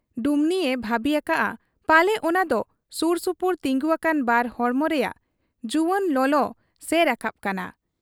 ᱰᱩᱢᱱᱤᱭᱮ ᱵᱷᱟᱹᱵᱤ ᱟᱠᱟᱜ ᱟ ᱯᱟᱞᱮ ᱚᱱᱟ ᱫᱚ ᱥᱩᱨ ᱥᱩᱯᱩᱨ ᱛᱤᱸᱜᱩ ᱟᱠᱟᱱ ᱵᱟᱨ ᱦᱚᱲᱢᱚ ᱨᱮᱭᱟᱜ ᱡᱩᱣᱟᱹᱱ ᱞᱚᱞᱚ ᱥᱮ ᱨᱟᱠᱟᱵ ᱠᱟᱱᱟ ᱾